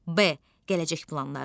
B gələcək planları.